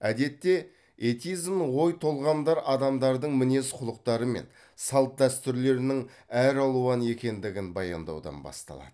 әдетте этизм ой толғамдар адамдардың мінез құлықтары мен салт дәстүрлерінің әралуан екендігін баяндаудан басталады